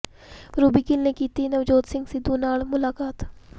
Ruby Gill ਨੇ ਕੀਤੀ ਨਵਜੋਤ ਸਿੰਘ ਸਿੱਧੂ ਨਾਲ ਮੁਲਾਕਾਤ